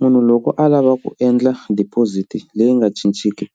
Munhu loko a lava ku endla deposit leyi nga cinciki